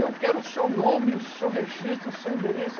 Eu quero o seu nome, o seu registro, o seu endereço.